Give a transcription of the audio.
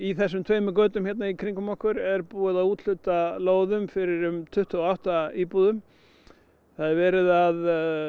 þessum tveimur götum hérna í kringum okkur er búið að úthluta lóðum fyrir um tuttugu og átta íbúðir það er verið að